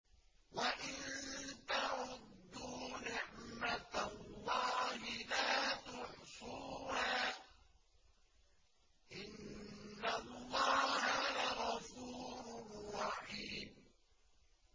وَإِن تَعُدُّوا نِعْمَةَ اللَّهِ لَا تُحْصُوهَا ۗ إِنَّ اللَّهَ لَغَفُورٌ رَّحِيمٌ